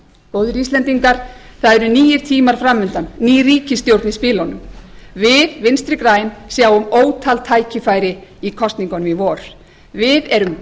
góðir íslendingar það eru nýir tímar fram undan ný ríkisstjórn í spilunum við vinstri græn sjáum ótal tækifæri í kosningunum í vor við erum